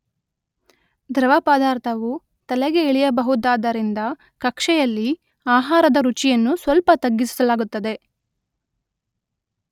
ದ್ರವ ಪದಾರ್ಥವು ತಲೆಗೆ ಇಳಿಯಬಹುದಾದ್ದರಿಂದ ಕಕ್ಷೆಯಲ್ಲಿ ಆಹಾರದ ರುಚಿಯನ್ನು ಸ್ವಲ್ಪ ತಗ್ಗಿಸಲಾಗುತ್ತದೆ.